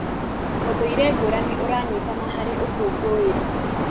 ũndũire ngũrani ũranyitana harĩ ũkũngũĩri.